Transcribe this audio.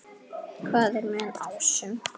Hvað er með ásum?